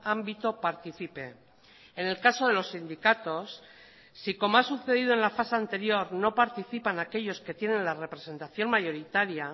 ámbito participe en el caso de los sindicatos si como ha sucedido en la fase anterior no participan aquellos que tienen la representación mayoritaria